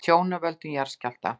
Tjón af völdum jarðskjálfta